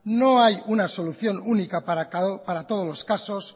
no hay una solución única para todos los casos